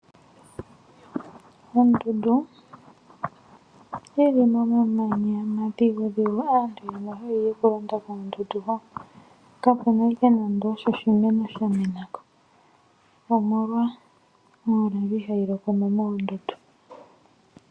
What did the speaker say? Mondundu yili omamanya omadhigudhigu aantu mboka haya yi koondundu kakuna nande oshimeno shamenako omolwa omvula ihayi loko mo moondundu.